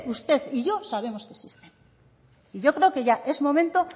usted y yo sabemos que existen y yo creo que ya es momento